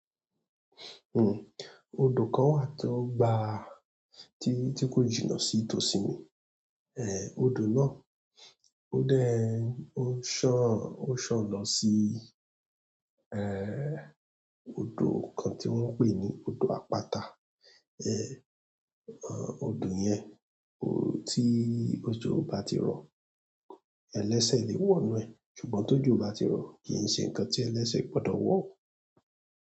Hm. Odò kan wà tó gba ti tí kò jìnà sí tòsí mi eh, odò náà ó dẹ ó san ó san lọ sí eh odò kan tí wọ́n ń pè ní odò àpáta. Eh, odò yẹn ó tí òjò bá ti rọ ẹlẹsẹ lè wọ nu ẹ ṣùgbọ́n tòjò bá ti rọ kìí ṣe nǹkan tí ẹlẹsẹ gbọdọ wọ.